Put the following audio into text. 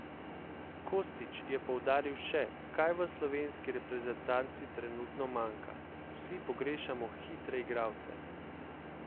Kostić je poudaril še, kaj v slovenski reprezentanci trenutno manjka: 'Vsi pogrešamo hitre igralce.